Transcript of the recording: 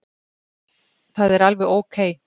Það er alveg ókei.